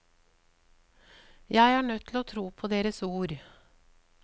Jeg er nødt til å tro på deres ord.